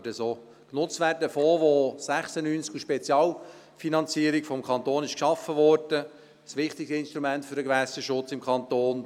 Der Fonds, welcher im Jahr 1996 als Spezialfinanzierung vom Kanton geschaffen wurde, ist ein wichtiges Instrument für den Gewässerschutz im Kanton;